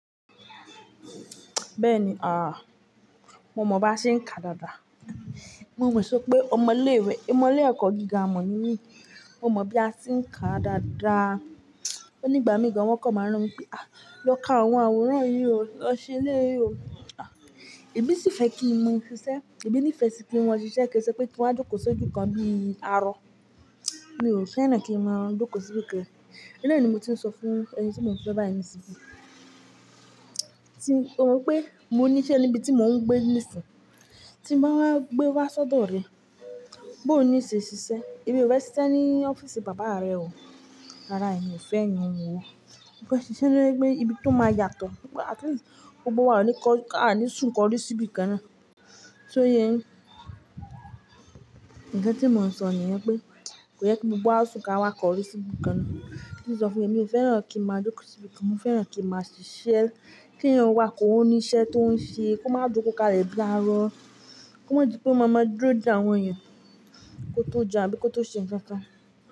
Bẹ́ẹ̀ni, ah, mo mọ̀ bí a ṣe ń kà dáadáa. Mo mo sópé ọmọ ilé ìwé, ọmọ ilé ẹ̀kọ́ gíga ma ními, mo mọ̀ bí a ti ń kà dáadáa. Ó nígbà mìí gan wọ́n kọ̀ máa ń rán mi pé "à, lọ ká àwọn àwòrán yìí o, lọ ṣe eléyìí o". Ẹmí sì fẹ́ kí n mo iṣẹ́, ẹmí ní ìfẹ́ sì kí n mo ṣiṣẹ́ kí n ṣe wí pé kí n wá jọ́kò sójú kan bíi arọ. Mi ò fẹ́ràn kí n máa jọ́kò síbi kan. Oun náà ni mo ti ń sọ fún ẹni tí mo ń fe báyii ni isìn. Tí ó mọ pé mo ní iṣẹ́ níbi tí mo ń gbé ní isìn. Tí n bá wá gbé wá sọ́dọ̀ rẹ, bó ni ṣe ṣiṣẹ́, emi ò fẹ se iṣe ní ọ́fíìsì bàbá rẹ o. Rárá, èmi ò fẹ́ iyen ó. Mo fẹ́ ṣiṣẹ́ ní ibi tó máa yàtọ̀. Mo gbá at least gbogbo wa o ní kọ́ á ní sùn kọrí síbi kan náà. Sọ yẹ yin, nkan tí mo ń sọ nìyẹn pé, kò yẹ kí gbogbo wa sùn ká wá kọrí sí ibi kan naá. Kí n sọ fún ẹ, mi ò fẹ́ràn kí n máa jọ́kò síbi kan, mo fẹ́ràn kí n máa ṣiṣẹ́. Kí ẹ̀yin wà kọ́ ní iṣẹ́ tó ń ṣe, kó má jọ́kò ká lè bii arọ. Kó máa jẹ ọ mama dúró de àwọn ẹ̀yàn kó tó jẹun àbí kó tó ṣe ǹkan kan.